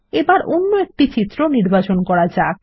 এবার অন্য চিত্র নির্বাচন করা যাক